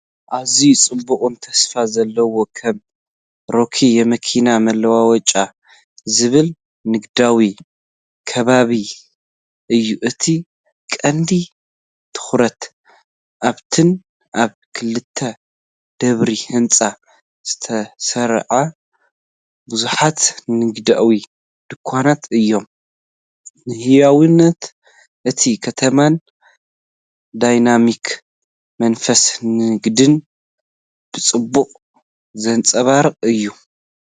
ኣዝዩ ጽዑቕን ተስፋ ዘለዎን ከም "ሮኪ የመኪና መለዋወጫ" ዝብል ንግዳዊ ከባቢ እዩ፡፡ እቲ ቀንዲ ትኹረት ኣብተን ኣብ ክልተ ደብሪ ህንጻ ዝተሰርዓ ብዙሓት ንግዳዊ ድኳናት እዩ። ንህያውነት እታ ከተማን ዳይናሚክ መንፈስ ንግድን ብጽቡቕ ዘንጸባርቕ እዩ፡፡